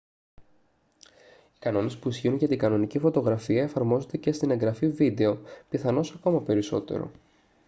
οι κανόνες που ισχύουν για την κανονική φωτογραφία εφαρμόζονται και στην εγγραφή βίντεο πιθανώς ακόμα περισσότερο